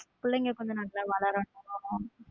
பிள்ளைங்க கொஞ்சம் நல்லா வளரனும்.